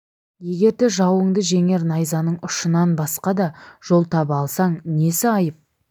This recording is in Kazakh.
егерде жауыңды жеңер найзаның ұшынан басқа да жол таба алсаң несі айып